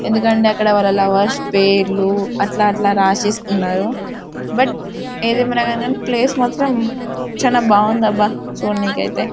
ఎందుకంటె అక్కడ వాళ్ళ లవర్స్ పేర్లు అట్ల అట్ల రాసె సుకున్నారు బట్ అదియేమియునుగాని ప్లేస్ మాత్రం చాల బాగుంది అబ చుడానికి అయితే.